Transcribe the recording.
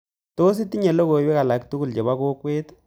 Tos itinye logoywek alaktugul chebo kokwet